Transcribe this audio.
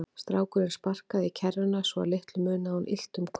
Strákurinn sparkaði í kerruna svo að litlu munaði að hún ylti um koll.